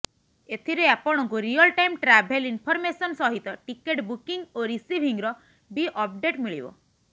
ଏଥିରେ ଆପଣଙ୍କୁ real time travel information ସହିତ ଟିକେଟ୍ ବୁକିଙ୍ଗ ଓ ରିସିଭିଙ୍ଗର ବି ଅପଡେଟ୍ ମିଳିବ